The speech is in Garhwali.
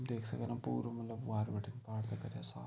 देख सक्दी पुरू मलब वार बटी पार तक साफ ।